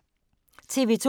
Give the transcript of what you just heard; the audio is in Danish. TV 2